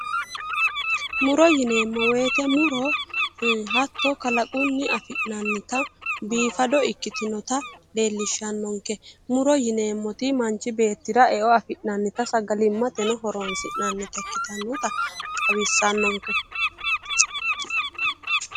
Muro yineemmo woyiite muro Ii hatto kalaqunni afi'nannitta biifado ikitinnotta leellishshanonke muro yineemmotti mancho beettira e'o afi'nannitta sagalimate horonsi'nannita ikitinotta xawisannonke